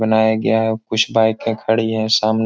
बनाया गया हैं कुछ बाईके खड़ी हैं सामने ---